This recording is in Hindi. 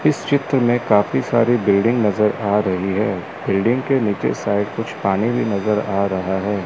इस चित्र में काफी सारी बिल्डिंग नज़र आ रही है बिल्डिंग के नीचे साइड कुछ पानी भी नज़र आ रहा है।